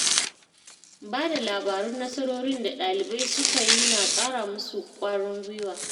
Ba da labarun nasarorin da ɗalibai suka yi na ƙara musu ƙwarin gwiwa.